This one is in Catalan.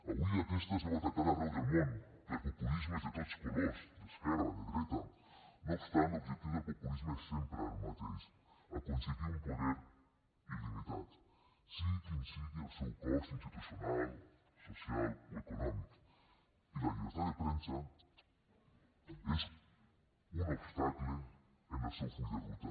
avui aquesta es veu atacada arreu del món per populismes de tots colors d’esquerra de dreta no obstant l’objectiu del populisme és sempre el mateix aconseguir un poder il·limitat sigui quin sigui el seu cost institucional social o econòmic i la llibertat de premsa és un obstacle en el seu full de ruta